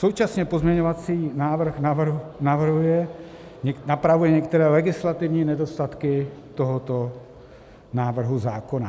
Současně pozměňovací návrh napravuje některé legislativní nedostatky tohoto návrhu zákona.